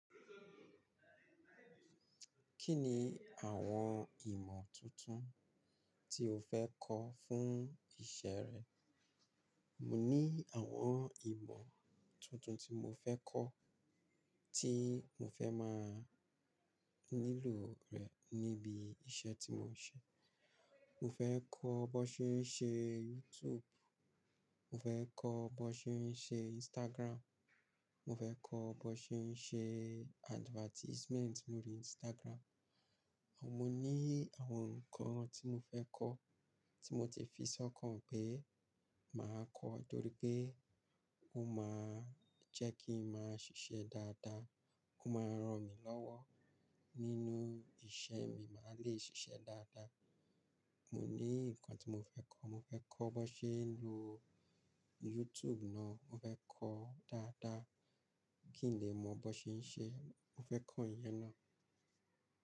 Kí ni àwọn ìmọ̀ tuntun tí o fẹ́ kọ́ fún ìṣe rẹ? Mo ní àwọn ìmọ̀ tuntun tí mo fẹ́ kọ́ tí mo fẹ́ máa nílò rẹ̀ níbi iṣẹ́ tí mo ń ṣe. Mo fẹ́ kọ́ bó ṣe ń ṣe YouTube, mo fẹ́ kọ́ bó ṣe ń ṣe Instagram, mo fẹ́ kọ́ bó ṣe ń ṣe advertisement lórí Instagram. Mo ní àwọn nǹkan tí mo fẹ́ kọ́ tí mo ti fi sọ́kàn pé màá kọ́ ọ́ n torí pé ó máa jẹ́ kí n máa ṣiṣẹ́ dáadáa, ó máa ran mi lọ́wọ́ nínú ìṣe mi, màá le ṣiṣẹ́ dáadáa. Mo ní nǹkan tí mo fẹ́ kọ́, mo fẹ́ kọ́ bi wón ṣe ń lo YouTube náà, mo fẹ́ kọ́ dáadáa kí n lè mọ bó ṣe ń ṣe, mo fẹ́ kọ́ ǹyẹn náà.